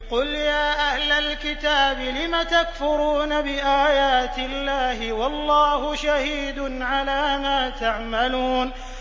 قُلْ يَا أَهْلَ الْكِتَابِ لِمَ تَكْفُرُونَ بِآيَاتِ اللَّهِ وَاللَّهُ شَهِيدٌ عَلَىٰ مَا تَعْمَلُونَ